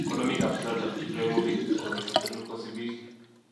Konomonikab Zlatan Ibrahimovic kogitil serut kosibiik